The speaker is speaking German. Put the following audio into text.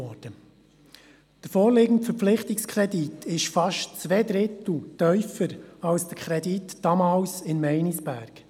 Der vorliegende Verpflichtungskredit ist fast um zwei Drittel tiefer als der damalige Kredit für Meinisberg.